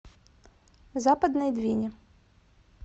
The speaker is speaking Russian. западной двине